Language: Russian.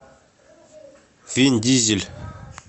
вин дизель